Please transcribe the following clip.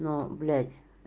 ну блядь